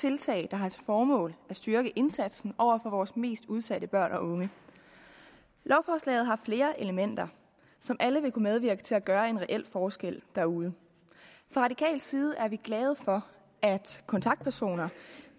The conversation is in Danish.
tiltag der har til formål at styrke indsatsen over for vores mest udsatte børn og unge lovforslaget har flere elementer som alle vil kunne medvirke til at gøre en reel forskel derude fra radikal side er vi glade for at kontaktpersoner